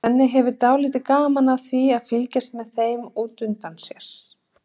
Svenni hefur dálítið gaman af því að fylgjast með þeim út undan sér.